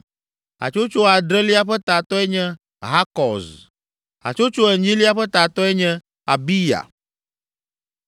Hatsotso adrelia ƒe tatɔe nye Hakɔz. Hatsotso enyilia ƒe tatɔe nye Abiya.